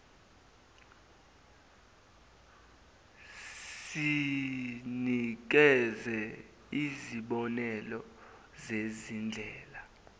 sinikeze izibonelo zezindlela